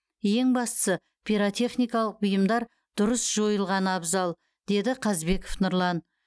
ең бастысы пиротехникалық бұйымдар дұрыс жойылғаны абзал деді қазбеков нұрлан